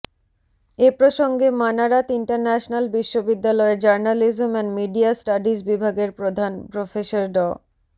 এ প্রসঙ্গে মানারাত ইন্টারন্যাশনাল বিশ্ববিদ্যালয়ের journalism and media studies বিভাগের প্রধান প্রফেসর ড